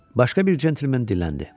Başqa bir centlmen dilləndi.